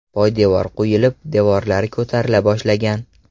Poydevor quyilib, devorlari ko‘tarila boshlagan.